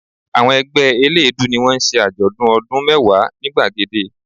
Àwọn ẹgbẹ́ eléèédú ni wọ́n ń ṣe àjọ̀dún ọdún mẹ́wàá ni gbàgede